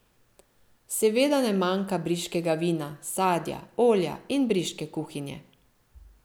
Seveda ne manjka briškega vina, sadja, olja in briške kuhinje.